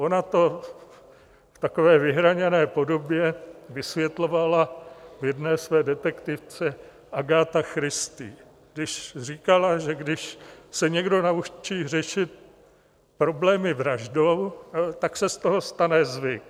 Ona to v takové vyhraněné podobě vysvětlovala v jedné své detektivce Agatha Christie, když říkala, že když se někdo naučí řešit problémy vraždou, tak se z toho stane zvyk.